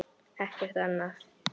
Ekkert annað?